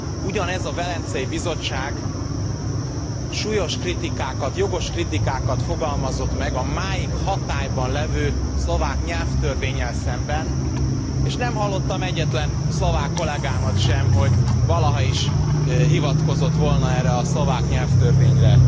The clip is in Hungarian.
Ugyanez a Velencei Bizottság súlyos kritikákat, jogos kritikákat fogalmazott meg a máig hatályban lévő szlovák nyelvtörvénnyel szemben, és nem hallottam egyetlen szlovák kollegámat sem, hogy valaha is hivatkozott volna erre a szlovák nyelvtörvényre.